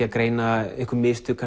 að greina einhver mistök